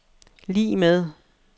lig med